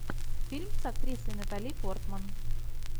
фильм с актрисой натали портман